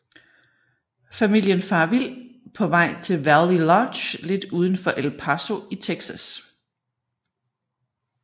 Familien farer vild på vej til Valley Lodge lidt udenfor El Paso i Texas